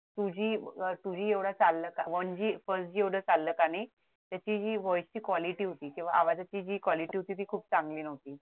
two G अह two G चाललं का one Gfirst G एवढं चाललं का नाही त्याची हि voice ची quality होती किंवा आवाजाची quality होती ती खूप चांगली नव्हती